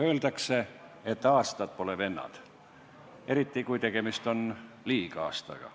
Öeldakse, et aastad pole vennad, eriti kui tegemist on liigaastaga.